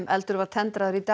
eldur var tendraður í dag